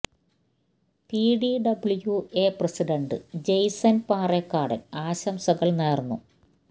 P T W A president Jason Parekkadan ആശംസകൾ നേർന്നു